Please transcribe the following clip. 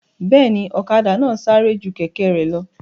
Bẹ́ẹ̀ni, ọ̀kadà náà sáré ju kẹ̀kẹ́ rẹ̀ lọ